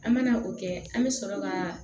An mana o kɛ an bɛ sɔrɔ ka